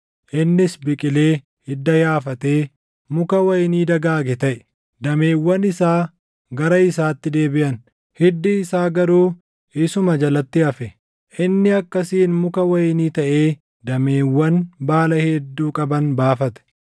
innis biqilee hidda yaafatee muka wayinii dagaage taʼe. Dameewwan isaa gara isaatti deebiʼan; hiddi isaa garuu isuma jalatti hafe. Inni akkasiin muka wayinii taʼee dameewwan baala hedduu qaban baafate.